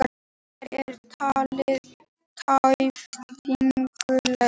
Hér er talað tæpitungulaust